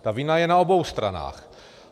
Ta vina je na obou stranách.